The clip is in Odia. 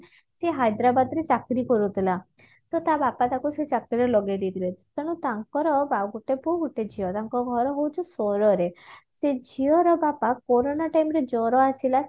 ସେ ହାଇଦ୍ରାବାଦରେ ଚାକିରି କରୁଥିଲା ସେ ତା ବାପା ତାକୁ ସେ ଚାକିରିରେ ଲଗେଇ ଦେଇଥିଲେ ତେଣୁ ତାଙ୍କର ଆଉ ଗୋଟେ ପୁଅ ଗୋଟେ ଝିଅ ତାଙ୍କ ଘର ହଉଛି ସୋର ରେ ସେ ଝିଅ ର ବାପା କୋରୋନା time ରେ ଜର ଆସିଲା